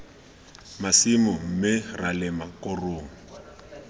masimo mme ra lema korong